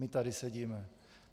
My tady sedíme.